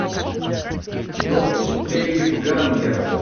доппельгангер